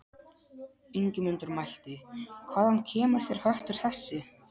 Ingimundur mælti: Hvaðan kemur þér höttur þessi?